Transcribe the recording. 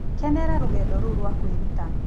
Kenera rũgendo rũu rwa kwĩruta.